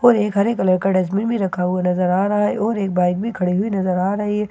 और एक हरे कलर का डस्टबीन भी रखा हुआ नज़र आ रहा है और एक बाइक भी खड़ी हुई नज़र आ रही हैं और --